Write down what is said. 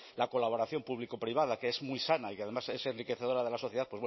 la colaboración público privada que es muy sana y que además es enriquecedora de la sociedad